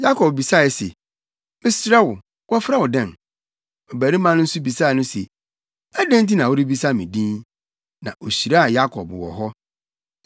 Yakob bisae se, “Mesrɛ wo, wɔfrɛ wo dɛn?” Ɔbarima no nso bisaa no se, “Adɛn nti na worebisa me din?” Na ohyiraa Yakob wɔ hɔ.